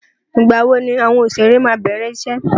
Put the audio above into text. Ìgbà wo ni àwọn òṣèré máa bẹ̀rẹ̀ iṣẹ́?